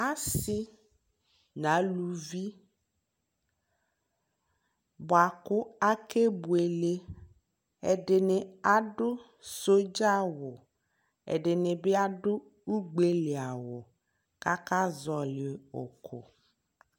Asi nʋ alʋvi bua kʋ akebuele Ɛdi ni adʋ sodzawu, ɛdi ni bi adʋ ugbeli awu kakazɔli uku